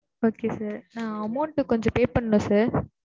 okay sir நான் amount கொஞ்சம் pay பண்ணல sir